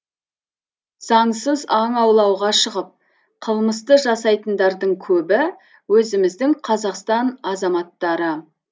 заңсыз аң аулауға шығып қылмысты жасайтындардың көбі өзіміздің қазақстан азаматтары